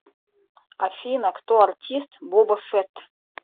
афина кто артист боба фетт